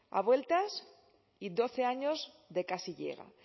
a vueltas y doce años de casi llega